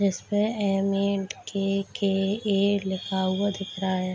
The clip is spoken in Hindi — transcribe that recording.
जिसपे ऍम.ए.एन.टी.के.के.ए. लिखा हुआ दिख रहा है।